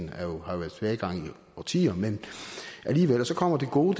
årtier men alligevel og så kommer det gode